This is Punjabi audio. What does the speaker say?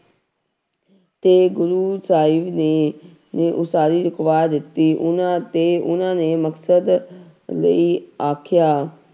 ਤੇ ਗੁਰੂ ਸਾਹਿਬ ਨੇ, ਨੇ ਉਸਾਰੀ ਰੁਕਵਾ ਦਿੱਤੀ ਉਹਨਾਂ ਤੇ ਉਹਨਾਂ ਨੇ ਮਦਦ ਲਈ ਆਖਿਆ